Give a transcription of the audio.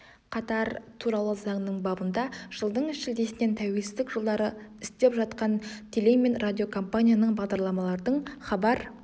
қатар туралы заңының бабында жылдың шілдесінен тәуелсіздік жылдары істеп жатқан теле мен радиокомпанияның бағдарламалардың хабар